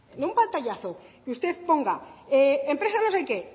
en un pantallazo que usted ponga empresa no se qué